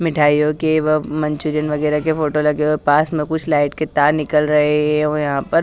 मिठाइयो की व मंचूरियन वगेरा के फोटो लगे हुए है पास में कुछ लाइट के तार निकल रहे है यहा पर--